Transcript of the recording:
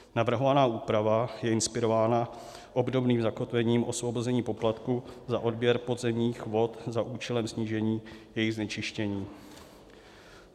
Navrhovaná úprava je inspirována obdobným zakotvením osvobození poplatků za odběr podzemních vod za účelem snížení jejich znečištění.